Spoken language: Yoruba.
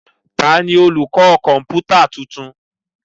Ta jí olùkọ́ kọ̀ǹpútà tuntun?